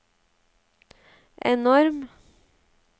enorm